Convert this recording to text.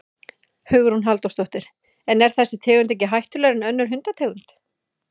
Hugrún Halldórsdóttir: En er þessi tegund ekki hættulegri en önnur hundategund?